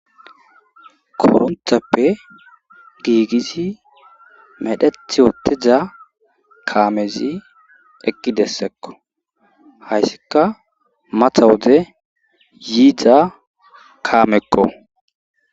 Koronthappe giigisi medheth woteza kaamezi ekki dessekko hayssika matha wode yiidza kaamekko